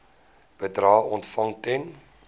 bedrae ontvang ten